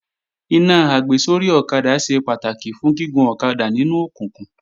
Iná àgbésórí ọ̀kadà ṣe pàtàkì fún gígun ọ̀kadà nínú òkùnkùn